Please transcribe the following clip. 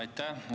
Aitäh!